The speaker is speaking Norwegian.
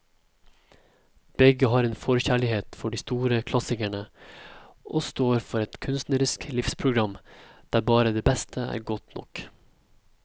Begge har en forkjærlighet for de store klassikere og står for et kunstnerisk livsprogram der bare det beste er godt nok.